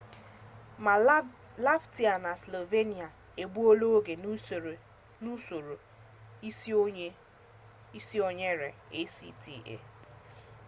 ma latvia ma slovakia egbuola oge nke usoro isonyere acta